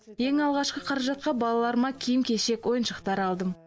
ең алғашқы қаражатқа балаларыма киім кешек ойыншықтар алдым